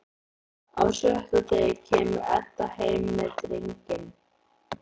Á sjötta degi kemur Edda heim með drenginn.